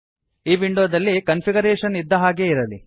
ಈ ವಿಂಡೋದಲ್ಲಿ ಕನ್ಫಿಗರೇಷನ್ ಇದ್ದ ಹಾಗೇ ಇರಲಿ